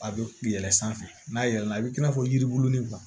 A bɛ yɛlɛ sanfɛ n'a yɛlɛla i bi n'a fɔ yiribulu ni